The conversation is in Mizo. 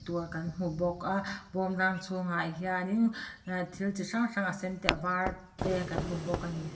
kan hmu bawk a bawmrang chhungah hian in ehh thil chi hrang hrang a sen te a var te kan hmu bawk a ni.